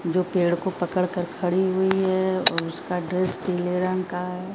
जो पेड़ को पकड़ कर खड़ी हुई है और उसका ड्रेस पीले रंग का है।